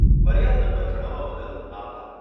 ફરિયાદ નંબર જણાવવા બદલ આભાર.